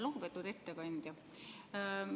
Lugupeetud ettekandja!